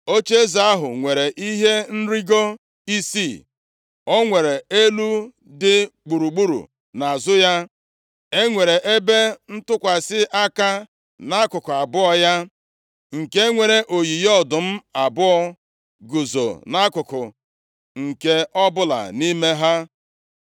Ocheeze ahụ nwere ihe nrigo isii, o nwere elu dị gburugburu nʼazụ ya. E nwere ebe ntụkwasị aka nʼakụkụ abụọ ya, nke nwere oyiyi ọdụm abụọ guzo nʼakụkụ nke ọbụla nʼime ha.